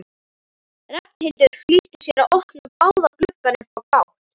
Ragnhildur flýtti sér að opna báða gluggana upp á gátt.